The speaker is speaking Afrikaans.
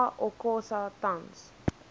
sa okosa tans